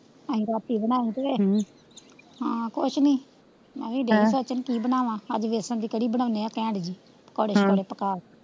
ਅਹਿ ਰਾਤੀ ਬਣਾਈ ਸੀ ਹਮ ਹਾਂ ਕੁੱਛ ਨੀ ਮੈਵੀ ਦੇਖਦੀ ਚਾਚੇ ਨੂੰ ਕੀ ਬਨਾਵਾਂ ਅੱਜ ਵੇਸਣ ਦੀ ਕੜੀ ਬਣਾਉਂਦੇ ਆ ਘੇਟ ਜੀ ਪਕੋੜੇ ਸ਼ਕੋੜੇ ਪੱਕਾ ਕੇ,